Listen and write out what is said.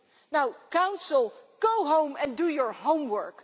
Now Council, go home and do your homework.